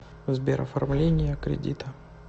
сбер оформления кредита